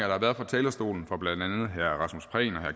har været fra talerstolen fra blandt og herre